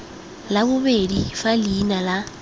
la bobedi fa leina la